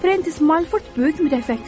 Frensiz Malford böyük mütəfəkkir olub.